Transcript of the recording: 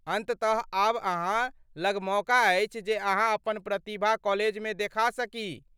अन्ततः आब अहाँ लग मौका अछि जे अहाँ अपन प्रतिभा कॉलेजमे देखा सकी।